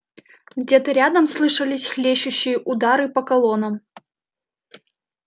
где-то рядом слышались хлещущие удары по колоннам